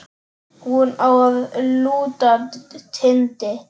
Hún á að lúta Tindi.